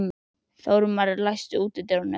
Þórmar, læstu útidyrunum.